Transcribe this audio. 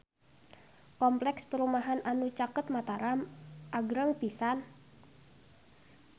Kompleks perumahan anu caket Mataram agreng pisan